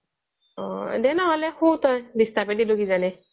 দে নহ'লে শু তই disturb য়েই দিলো কিজানি